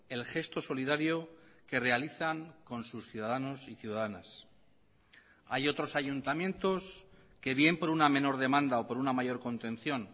el gesto solidario que realizan con sus ciudadanos y ciudadanas hay otros ayuntamientos que bien por una menor demanda o por una mayor contención